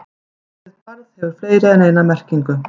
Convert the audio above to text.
Orðið barð hefur fleiri en eina merkingu.